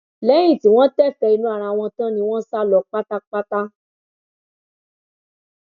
lẹyìn tí wọn tẹfẹẹ inú ara wọn tán ni wọn sá lọ pátápátá